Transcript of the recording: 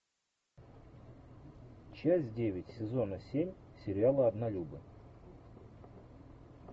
часть девять сезона семь сериала однолюбы